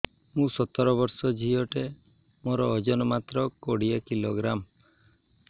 ମୁଁ ସତର ବର୍ଷ ଝିଅ ଟେ ମୋର ଓଜନ ମାତ୍ର କୋଡ଼ିଏ କିଲୋଗ୍ରାମ